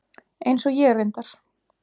Eins og ég reyndar.